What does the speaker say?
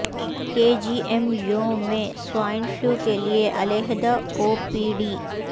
کے G M U میں swine flu کیلئے علیحدہ او پی ڈی